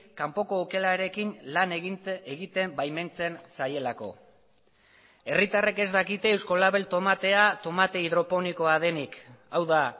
kanpoko okelarekin lan egiten baimentzen zaielako herritarrek ez dakite euskolabel tomatea tomate hidroponikoa denik hau da